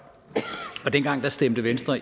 dengang stemte venstre